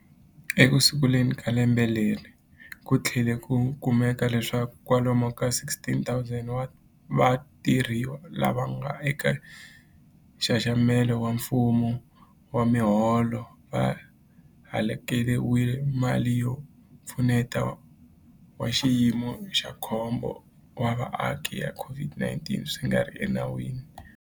Ekusunguleni ka lembe leri, ku tlhele ku kumeka leswaku kwalomu ka 16,000 wa vathoriwa lava nga eka nxaxamelo wa mfumo wa miholo va hakeriwile mali ya Mpfuneto wa Xiyimo xa Khombo wa Vaaki ya COVID-19 swi nga ri enawini.